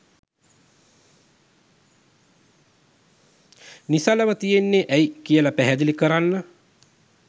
නිසලව තියෙන්නේ ඇයි කියල පැහැදිලි කරන්න.